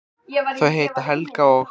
Þau heita Helga og